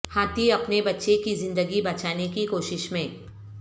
ہاتھی اپنے بچے کی زندگی بچانے کی کوشش میں